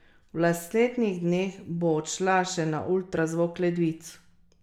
V naslednjih dneh bo odšla še na ultrazvok ledvic.